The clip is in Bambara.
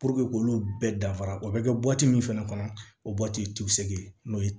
k'olu bɛɛ dafa o bɛ kɛ min fana kɔnɔ o n'o ye